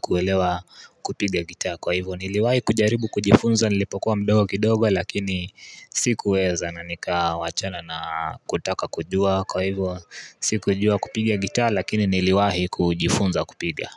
kuelewa kupiga gitaa kwa hivyo niliwahi kujaribu kujifunza nilipokuwa mdogo kidogo lakini sikuweza na nikawachana na kutaka kujua kwa hivyo sikujua kupiga gitaa lakini niliwahi kujifunza kupiga.